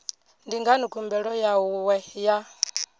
ndi ngani khumbelo yawe ya